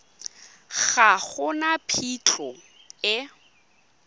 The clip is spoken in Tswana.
ga go na phitlho e